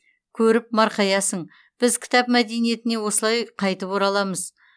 көріп марқаясың біз кітап мәдениетіне осылай қайтып ораламыз